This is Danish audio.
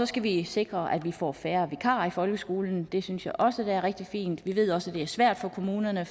skal vi sikre at vi får færre vikarer i folkeskolen det synes jeg også vil være rigtig fint vi ved også at det er svært for kommunerne at